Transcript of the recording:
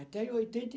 Até em oitenta e